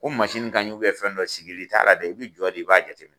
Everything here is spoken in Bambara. Ko mansini ka ɲi fɛn dɔ sigili t'a la dɛ, i bɛ jɔ de i b'a jateminɛ